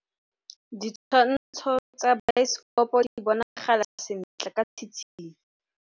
Ditshwantshô tsa biosekopo di bonagala sentle ka tshitshinyô.